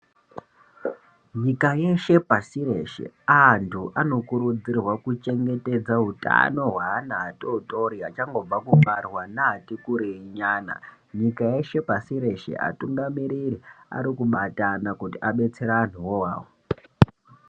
Nyika yeshe pasi reshe antu anokurudzirwa kuchengetedze hutano hweana atotori achangobva kubarwa neati kurei nyana, nyika yeshe pashi reshe atungamiriri arikubatana kuti abetsere antuwo awawo.